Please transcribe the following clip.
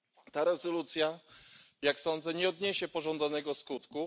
Ta rezolucja, jak sądzę, nie odniesie pożądanego skutku.